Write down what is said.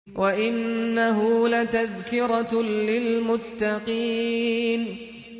وَإِنَّهُ لَتَذْكِرَةٌ لِّلْمُتَّقِينَ